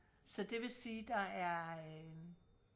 så det vi sige der er øh